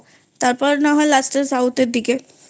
তারপর না হয় South এর দিকে